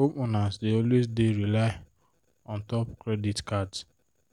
homeowners dey always dey rely untop credit cards